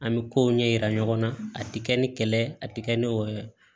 An bɛ kow ɲɛ yira ɲɔgɔn na a tɛ kɛ ni kɛlɛ ye a tɛ kɛ ni wɔ ye